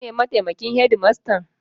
Kai ne mataimakin shedimastan?